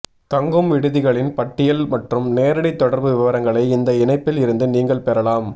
தங்கும் விடுதிகளின் பட்டியல் மற்றும் நேரடித் தொடர்பு விவரங்களை இந்த இணைப்பில் இருந்து நீங்கள் பெறலாம்